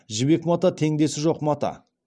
жібек мата теңдесі жоқ мата